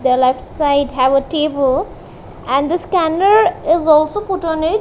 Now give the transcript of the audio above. the left side have a table and the scanner is also put on it.